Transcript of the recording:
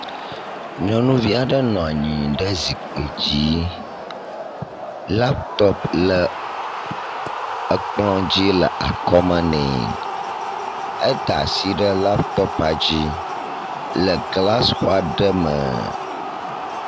Nyɔnuvi aɖe nɔ anyi ɖe zipkui dzi. Latɔpu le ekplɔ dzi le akɔ me nɛ. Eda asi ɖe latɔpu dzi le glasixɔ aɖe me.